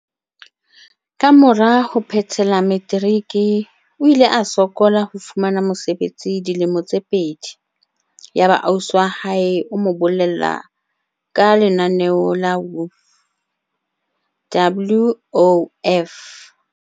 Kamora ho phethela materiki o ile a sokola ho fumana mosebetsi dilemo tse pedi. Yaba ausi wa hae o mo bolella ka lenaneo la WOF.